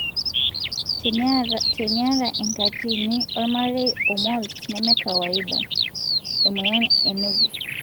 teniata enkatini olmarei o moles nemenekawaida (emoyian e nevus )